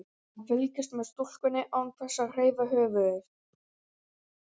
Hann fylgist með stúlkunni án þess að hreyfa höfuðið.